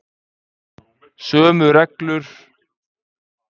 Sömu reglur og um erlenda spítala